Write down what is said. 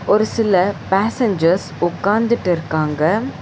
ஒரு சில பேசஞ்சர்ஸ் உக்காந்துட்டு இருகாங்க.